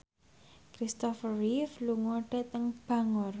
Kristopher Reeve lunga dhateng Bangor